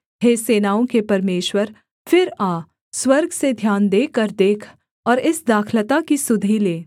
हे सेनाओं के परमेश्वर फिर आ स्वर्ग से ध्यान देकर देख और इस दाखलता की सुधि ले